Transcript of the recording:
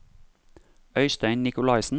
Øistein Nicolaysen